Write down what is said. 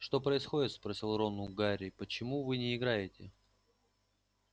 что происходит спросил рон у гарри почему вы не играете